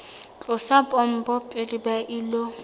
tlosa pompo pele ba ilo